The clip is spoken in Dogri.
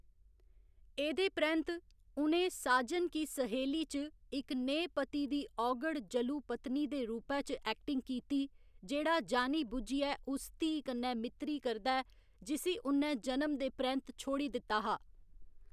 एह्‌‌‌दे परैंत्त, उ'नें साजन की सहेली च इक नेह् पति दी औघड़, जलू पत्नी दे रूपा च ऐक्टिंग कीती, जेह्‌‌ड़ा जानी बुज्झियै उस धीऽ कन्नै मित्तरी करदा ऐ जिसी उ'न्नै जन्म दे परैंत्त छोड़ी दित्ता हा।